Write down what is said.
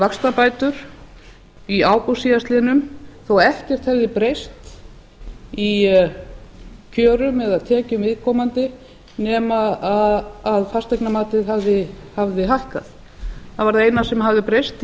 vaxtabætur í ágúst síðastliðinn þó ekkert hefði breyst í kjörum eða tekjum viðkomandi nema fasteignamatið hafði hækkað það var það eina sem hafði breyst